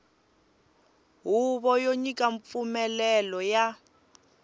huvo yo nyika mpfumelelo ya